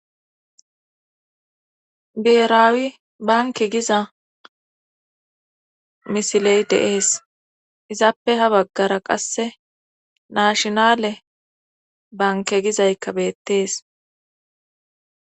Biheraawi banke giza misiley deees izaappe ha baggara qasse naashinale banke gizaykka beettees